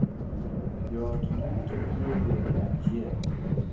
Jo ot duto ni e pej achiel